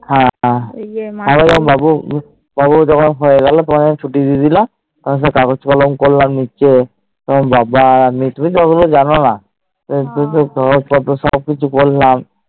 হ্যান আরো ভম্ব ওই যে পর্ব জোখলন হয়ে এলো তোমাকে তখন ছুটি দিয়ে দিলো তখন সেই কাগজ করলাম যে সে তোমার বাবা আমি তুমি তুমিতো জানোনা সব সে পরে কাঞ্জ পত্র সব কিছু করলাম